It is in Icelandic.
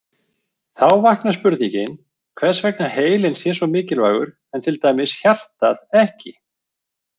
Þá vaknar spurningin hvers vegna heilinn sé svo mikilvægur en til dæmis hjartað ekki.